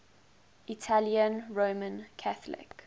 italian roman catholic